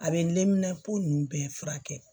A bɛ nunnu bɛɛ furakɛ